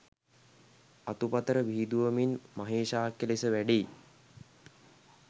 අතුපතර විහිදුවමින් මහේශාක්‍ය ලෙස වැඩෙයි.